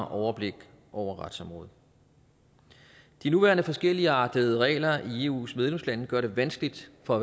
overblik over retsområdet de nuværende forskelligartede regler i eus medlemslande gør det vanskeligt for